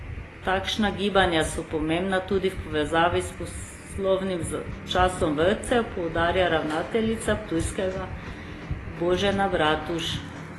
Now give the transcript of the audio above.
Takšna gibanja so pomembna tudi v povezavi s poslovnim časom vrtcev, poudarja ravnateljica ptujskega Božena Bratuž.